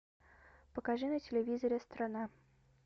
покажи на телевизоре страна